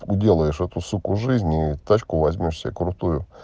делаешь эту суку жизни тачку возьмёшь себе крутую